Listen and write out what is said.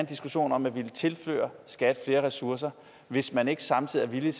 diskussion om at ville tilføre skat flere ressourcer hvis man ikke samtidig er